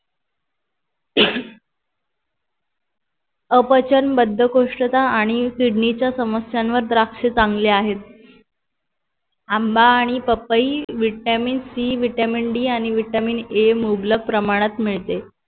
अपचन बद्धकोष्ठता आणि किडनी च्या समस्यांवर द्राक्ष चांगले आहेत आंबा आणि पपई Vitamin C vitamin D आणि Vitamin A मुबलक प्रमाणात मिळते